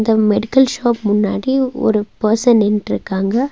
இந்த medical shop முன்னாடி ஒரு பர்சன் நின்னுட்ருக்காங்க.